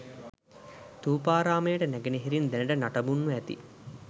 ථූපාරාමයට නැගෙනහිරින් දැනට නටබුන්ව ඇති